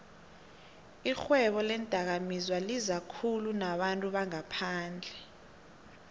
ixhwebo leendakamizwalizakhulu nabantu bangaphandle